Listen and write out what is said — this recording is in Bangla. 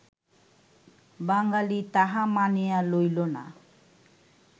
বাঙ্গালী তাহা মানিয়া লইল না